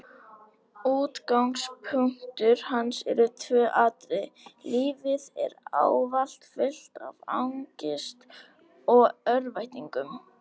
Útgangspunktur hans eru tvö atriði: lífið er ávallt fullt af angist og örvæntingu.